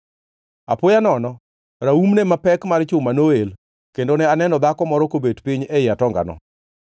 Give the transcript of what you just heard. Apoya nono raumne mapek mar chuma noel kendo ne aneno dhako moro kobet piny ei atongano!